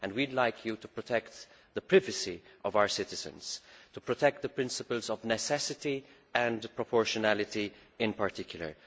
We would like you to protect the privacy of our citizens and to protect the principles of necessity and proportionality in particular.